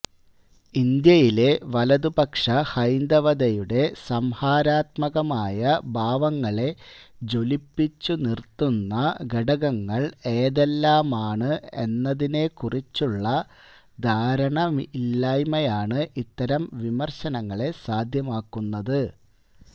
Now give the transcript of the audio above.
ഇന്ത്യയിലെ വലതുപക്ഷ ഹൈന്ദവതയുടെ സംഹാരാത്മകമായ ഭാവങ്ങളെ ജ്വലിപ്പിച്ചു നിരത്തുന്ന ഘടകങ്ങള് ഏതെല്ലാമാണ് എന്നതിനെക്കുറിച്ചുള്ള ധാരണയില്ലായ്മയാണ് ഇത്തരം വിമര്ശങ്ങളെ സാധ്യമാക്കുന്നത്